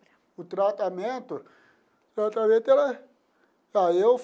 O tratamento? O tratamento era.